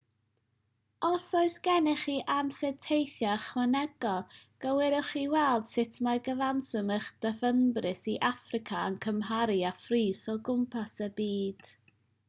os oes gennych chi amser teithio ychwanegol gwiriwch i weld sut mae cyfanswm eich dyfynbris i affrica yn cymharu â phris o gwmpas y byd